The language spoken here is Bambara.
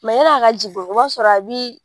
ya ni a ka jigin o b'a sɔrɔ a bi